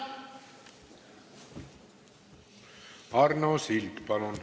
Arno Sild, palun!